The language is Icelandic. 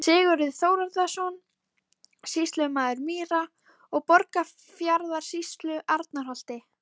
Sigurður Þórðarson, sýslumaður Mýra- og Borgarfjarðarsýslu, Arnarholti.